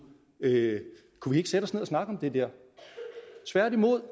kunne vi ikke sætte os ned og snakke om det der tværtimod